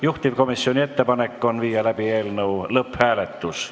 Juhtivkomisjoni ettepanek on viia läbi eelnõu lõpphääletus.